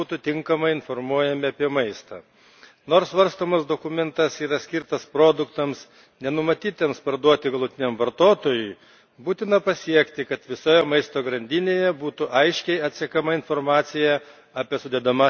Nors svarstomas dokumentas yra skirtas produktams, nenumatytiems parduoti galutiniams vartotojams, būtina pasiekti, kad visoje maisto grandinėje būtų aiškiai atsekama informacija apie sudedamąsias dalis ir ypač apie alergenus.